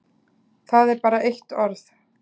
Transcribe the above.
Það er bara eitt orð.